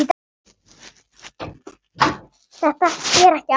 Þetta er ekkert áfengi.